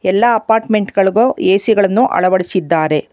ಎಲ್ಲಾ ಅಪಾರ್ಟ್ಮೆಂಟ್ಗಳಿಗೂ ಎ_ಸಿ ಗಳನ್ನು ಅಳವಡಿಸಿದ್ದಾರೆ.